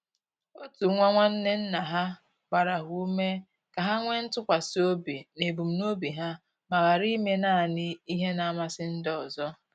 Otu nwa nwanne nna ha gbara ha ume ka ha nwee ntụkwasi obi n'ebumnobi ha ma ghara ime naanị ihe na-amasị ndị ọzọ.